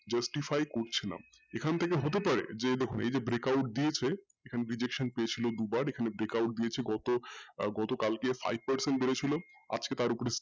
justify করছে এখান থেকে হতে পারে যে দেখুন এইযে break out দিয়েছে সেখানে rejection চেয়েছিলো দুবার এখানে break out দিয়েছে গত আহ গতকালকে five percent বেড়েছিল আজকে তার ওপরে স্থির,